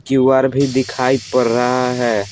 Q R भी दिखाई पड़ रहा है।